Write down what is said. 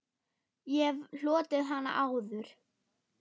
Ég hef hlotið hana áður.